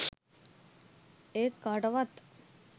ඒත් කාටවත්